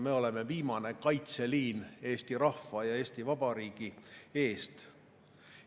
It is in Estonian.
Me oleme viimane kaitseliin Eesti rahva ja Eesti Vabariigi eest.